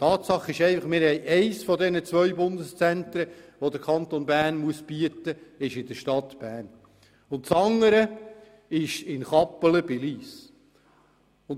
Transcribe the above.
Tatsache ist einfach, dass sich eines der beiden Bundeszentren, die der Kanton Bern anbieten muss, in der Stadt Bern und das andere in Kappelen bei Lyss befindet.